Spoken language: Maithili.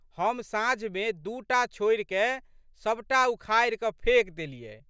हम साँझमे दू टा छोड़िकए सब टा उखाड़िकए फेकि देलियै।